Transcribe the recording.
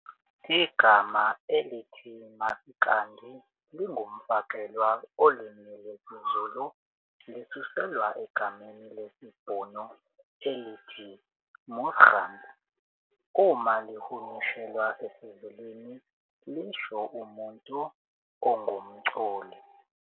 Igama elithi Masikandi lingumfakelwa olimini lwesiZulu lisuselwa egameni lesiBhunu elithi "musikant" uma lihunyushelwa esiZulwini lisho umuntu ongumculi.